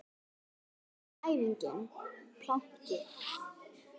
Síðasta æfingin planki.